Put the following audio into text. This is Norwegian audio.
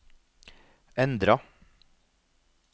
endra